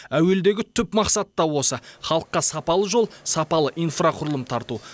әуелдегі түп мақсат та осы халыққа сапалы жол сапалы инфрақұрылым тарту